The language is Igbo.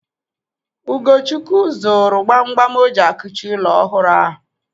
Ugochukwu zụrụ gbam gbam o ji a kuchi ụlọ ọhụrụ ahụ.